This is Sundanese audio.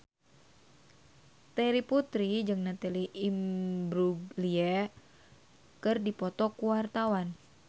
Terry Putri jeung Natalie Imbruglia keur dipoto ku wartawan